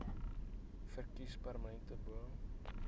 verkies permanente bo